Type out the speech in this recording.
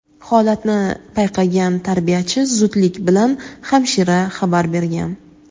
Holatni payqagan tarbiyachi zudlik bilan hamshira xabar bergan.